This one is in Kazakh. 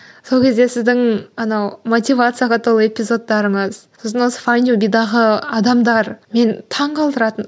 сол кезде сіздің анау мотивацияға толы эпизодтарыңыз сосын осы файндюбидегі адамдар мені таңғалдыратын